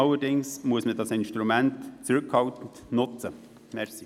Das Instrument soll jedoch zurückhaltend genutzt werden.